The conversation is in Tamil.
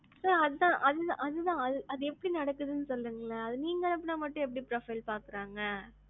sir அதான். அது எப்படி நடக்குதுன்னு சொல்றிங்களா? அது நீங்க அனுப்புனா மட்டும் எப்படி பாக்குறாங்க?